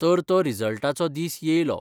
तर तो रिजल्टाचो दीस येयलो.